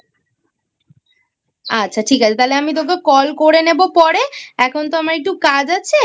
আচ্ছা ঠিক আছে তাহলে আমি তোকে Call করে নেবো পরে এখন তো আমার একটু কাজ আছে ঠিক আছে।